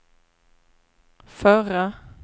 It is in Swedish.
förra